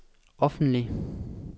offentlig